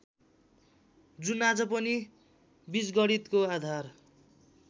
जुन आज पनि बिजगणितको आधार